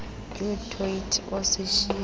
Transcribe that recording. du toit osishiye